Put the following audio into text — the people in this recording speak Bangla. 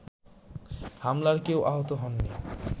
হামলায় কেউ আহত হননি